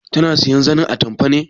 Tana sayan zanin atamfa ne?